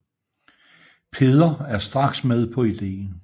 Peder er straks med på idéen